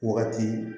Wagati